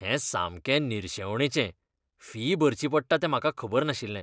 हें सामकें निरशेवणेचें, फी भरची पडटा हें म्हाका खबर नाशिल्लें .